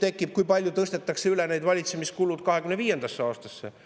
Tekib küsimus, kui palju tõstetakse neid valitsemiskulusid üle 2025. aastasse.